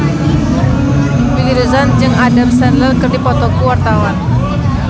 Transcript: Willy Dozan jeung Adam Sandler keur dipoto ku wartawan